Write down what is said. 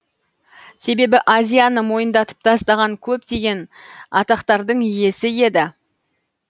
себебі азияны мойындатып тастаған көптеген атақтардың иесі еді